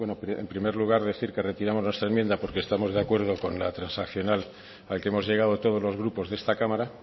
en primer lugar decir que retiramos nuestra enmienda porque estamos de acuerdo con la transaccional a la que hemos llegado todos los grupos de esta cámara